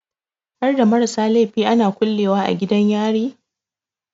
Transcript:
Harda marasa laifi ana kulle wa a gidan yari?